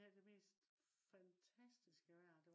vi havde det mest fantastiske vejr